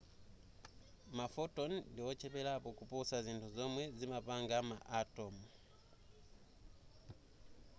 ma photon ndi ocheperapo kuposa zinthu zomwe zimapanga ma atom